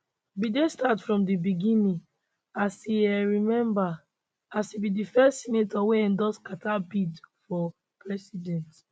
biden start from di beginning as e um remember as e be di first senator wey endorse carter bid for president